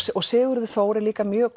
Sigurður Þór er líka mjög